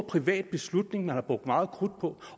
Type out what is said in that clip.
privat beslutning der er brugt meget krudt på